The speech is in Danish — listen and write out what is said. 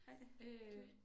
Ej cute